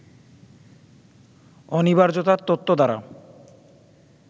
অনিবার্যতার তত্ত্ব দ্বারা